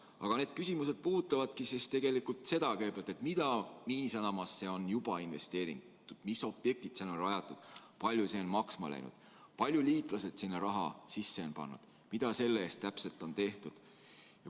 Aga need küsimused puudutavad seda, mida Miinisadamasse on juba investeeritud, mis objektid sinna on rajatud, kui palju see on maksma läinud, kui palju liitlased sinna raha sisse on pannud ja mida selle eest täpselt on tehtud.